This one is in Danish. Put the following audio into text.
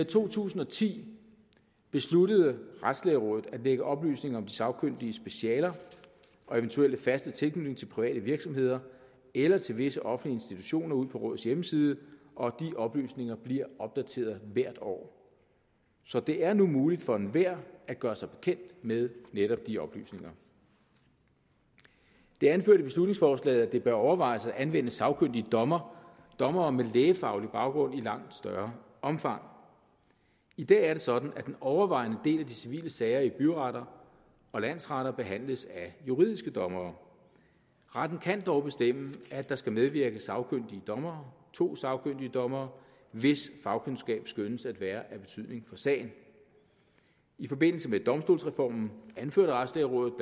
to tusind og ti besluttede retslægerådet at lægge oplysninger om de sagkyndiges specialer og eventuelle faste tilknytning til private virksomheder eller til visse offentlige institutioner ud på rådets hjemmeside og de oplysninger bliver opdateret hvert år så det er nu muligt for enhver at gøre sig bekendt med netop de oplysninger det er anført i beslutningsforslaget at det bør overvejes at anvende sagkyndige dommere dommere med lægefaglig baggrund i langt større omfang i dag er det sådan at den overvejende del af de civile sager i byretter og landsretter behandles af juridiske dommere retten kan dog bestemme at der skal medvirke sagkyndige dommere to sagkyndige dommere hvis fagkundskab skønnes at være af betydning for sagen i forbindelse med domstolsreformen anførte retslægerådet